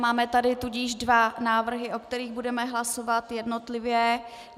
Máme tady tudíž dva návrhy, o kterých budeme hlasovat jednotlivě.